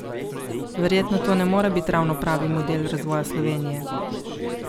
Verjetno to ne more biti ravno pravi model razvoja Slovenije?